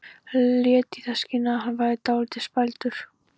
Lét í það skína að hann væri dálítið spældur.